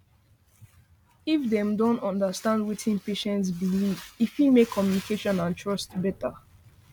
if dem um understand wetin patient believe e fit make communication and trust better